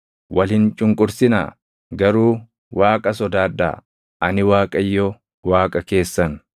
Wal hin cunqursinaa; garuu Waaqa sodaadhaa. Ani Waaqayyo Waaqa keessan.